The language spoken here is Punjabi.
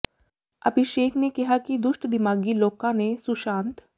ਅਭਿਸ਼ੇਕ ਨੇ ਕਿਹਾ ਹੈ ਕਿ ਦੁਸ਼ਟ ਦਿਮਾਗੀ ਲੋਕਾਂ ਨੇ ਸੁਸ਼ਾਂਤ